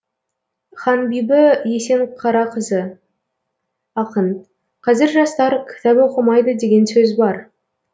ханбибі есенқарақызы ақын қазір жастар кітап оқымайды деген сөз бар